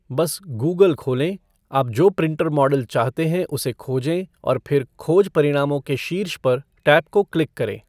बस गूगल खोलें, आप जो प्रिंटर मॉडल चाहते हैं उसे खोजें, और फिर खोज परिणामों के शीर्ष पर टैब को क्लिक करें।